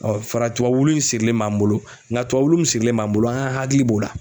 fara tuwa wulu in sirilen b'an bolo ŋa tuwa wulu min sirilen b'an bolo an hakili b'o la.